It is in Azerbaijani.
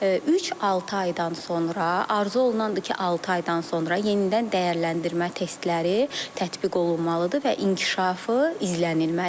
Üç-altı aydan sonra, arzu olunandır ki, altı aydan sonra yenidən dəyərləndirmə testləri tətbiq olunmalıdır və inkişafı izlənilməlidir.